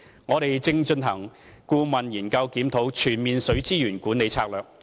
我們正進行顧問研究，檢討《全面水資源管理策略》。